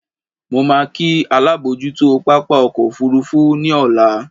Mo máa kí alábòójútó pápá ọkọ̀ òfuurufú ní ọ̀la.